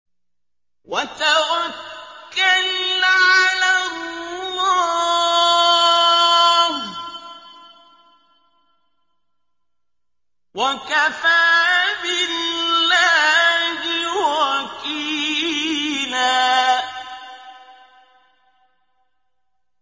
وَتَوَكَّلْ عَلَى اللَّهِ ۚ وَكَفَىٰ بِاللَّهِ وَكِيلًا